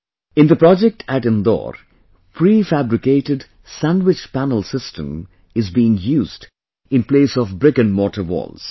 In the project at Indore, PreFabricated Sandwich Panel System is being used in place of BrickandMortar Walls